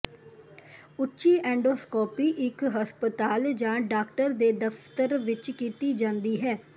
ਉੱਚੀ ਐਂਡੋਸਕੋਪੀ ਇੱਕ ਹਸਪਤਾਲ ਜਾਂ ਡਾਕਟਰ ਦੇ ਦਫਤਰ ਵਿੱਚ ਕੀਤੀ ਜਾਂਦੀ ਹੈ